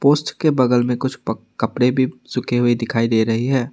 उसके बगल में कुछ कपड़े भी सूखे हुए दिखाई दे रही है।